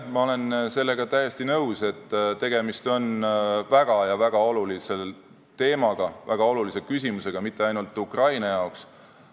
Ma olen sellega täiesti nõus, et tegemist on väga ja väga olulise teemaga, väga olulise küsimusega mitte ainult Ukraina jaoks.